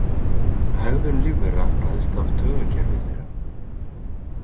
Hegðun lífvera ræðst af taugakerfi þeirra.